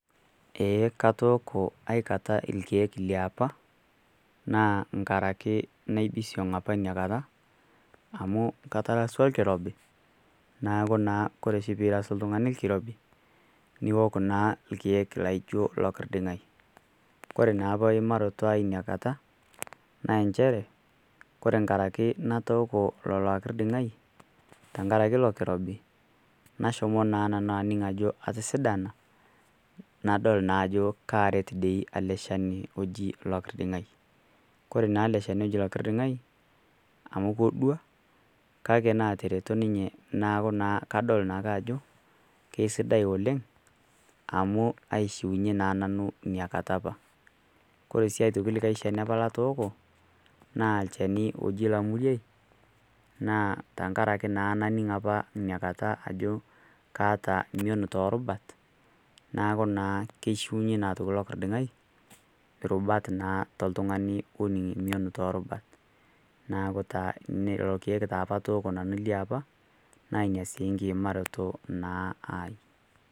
Eeh, katoko aikata ilkeek le opa, naa nkaraki naibisiong' apa ina kata, amu ketaraswa olkirobi, neaku Kore naa oshi peirasaki oltung'ani olkirobi niok naa ilkeek laijo Lokirding'ai. Kore naa eimarotai apa Ina kata, naa inchere kake Kore enkaraki natoo ilo Lokirding'ai, enkaraki ilo kirobi, nashomo naa nanu aning' ajo atosidana nadol naa ajo karet ele Shani loji Olokirding'ai. Kore naa ele chani oji Olokirding'ai amu kedua kake naatereto ninye neaku naa kadol naake ajo sidai oleng' amu aishunye naa nanu iniakata apa. Kore sii aitoki likai chani apa latooko naa lchani loji Lamuriai naa tenkaraki naning apa iniakata ajo kaata mion too irubat neaku naa keishunye naa Lokirding'ai irubat naa toltung'ani looning' mion too irubat, neaku taa lelo keek opa atooko nanu liapa na Ina sii enkiimaroto naa ai.